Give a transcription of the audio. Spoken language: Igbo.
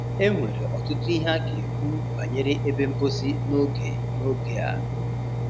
E nwere ọtụtụ ihe a ga-ekwu banyere ebe mposi n'oge n'oge a.